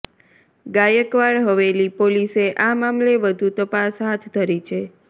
ગાયકવાડ હવેલી પોલીસે આ મામલે વધુ તપાસ હાથ ધરી છે